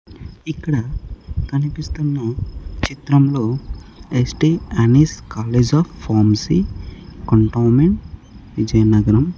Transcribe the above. ఇక్కడ కనిపిస్తున్న చిత్రంలో St Ann's college of pharmacy cantonment Vizianagaram--